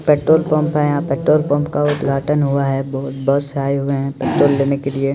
Petrol pump है यहाँ petrol pump का उद्घाटन हुआ है बहोत बस आए हुये है पेट्रोल लेने के लिए।